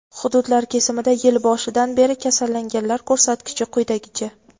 Hududlar kesimida yil boshidan beri kasallanganlar ko‘rsatkichi quyidagicha:.